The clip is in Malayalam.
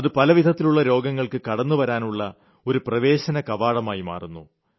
അത് പലതരത്തിലുള്ള രോഗങ്ങൾക്ക് കടന്നുവരാനുള്ള ഒരു പ്രവേശനകവാടമായി മാറുന്നു